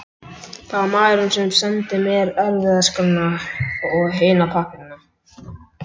Það var maðurinn sem sendi mér erfðaskrána og hina pappírana.